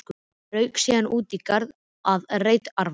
Rauk síðan út í garð að reyta arfa.